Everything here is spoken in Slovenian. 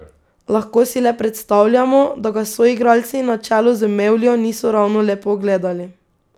Lahko si le predstavljamo, da ga soigralci na čelu z Mevljo niso ravno lepo gledali.